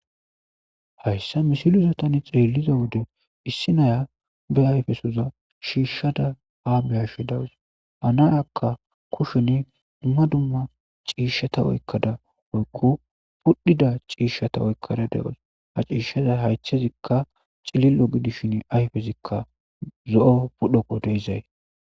Hayssa misilisotani xeelliza wode issi naya be ayfesoza shiishshada aabyashe dawus hanayakka kusheni dumma dumma ciishshata oykkada oykqu pudhida ciishshata oykkada de'os ha ciishshaza haytchezikka cilillo gidishin ayfezikka zo'o pudhoqo deizay.